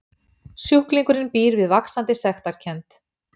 Sjúklingurinn býr við vaxandi sektarkennd.